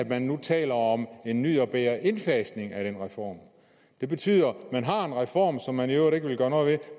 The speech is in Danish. man nu taler om en ny og bedre indfasning af den reform det betyder at man har en reform som man i øvrigt ikke vil gøre noget ved